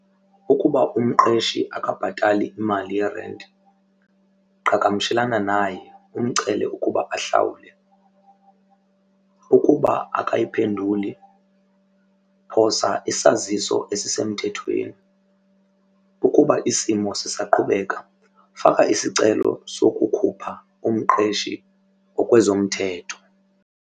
Ukuba umqeshi akabhatali imali yerenti qhagamshelana naye umcele ukuba ahlawule. Ukuba akayiphenduli phosa isaziso esisemthethweni. Ukuba isimo sisaqhubeka faka isicelo sokukhupha umqeshi ngokwezomthetho.